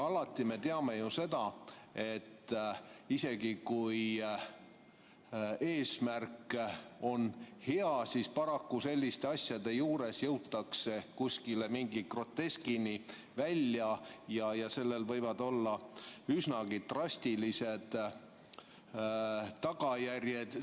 Me teame ju seda, et isegi kui eesmärk on hea, siis paraku selliste asjade juures jõutakse mingi groteskini välja ja sellel võivad olla üsnagi drastilised tagajärjed.